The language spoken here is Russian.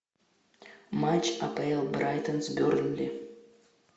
матч апл брайтон с бернли